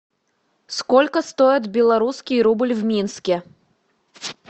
сколько стоит белорусский рубль в минске